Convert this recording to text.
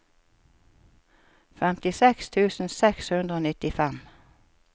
femtiseks tusen seks hundre og nittifem